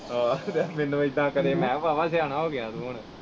ਆਹੋ ਤੇ ਮੈਨੂੰ ਇਹਦਾ ਕਰੇ ਮੈ ਕਿਹਾ ਵਾਵਾ ਸਿਆਣਾ ਹੋਗਿਆ ਤੂੰ ਹੁਣ।